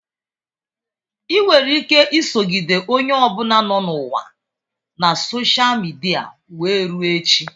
Ị nwere ike isogide onye ọ bụla nọ n'ụwa na sosha midia wee rue echi.